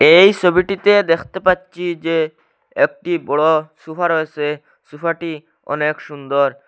এই সবিটিতে দেখতে পাচ্ছি যে একটি বড় সোফা রয়েসে সোফাটি অনেক সুন্দর।